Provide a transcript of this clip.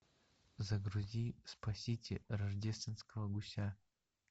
загрузи спасите рождественского гуся